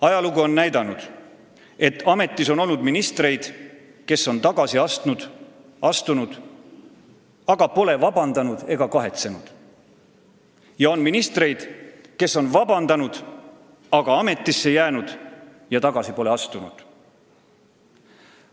Ajalugu on näidanud, et ametis on olnud ministreid, kes on tagasi astunud, aga pole vabandust palunud ega kahetsenud, ja on ministreid, kes on vabandust palunud, aga ametisse jäänud, tagasi pole astunud.